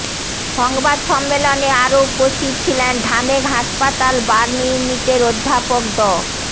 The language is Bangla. সংবাদ সম্মেলনে আরও উপস্থিত ছিলেন ঢামেক হাসপাতাল বার্ন ইউনিটের অধ্যাপক ড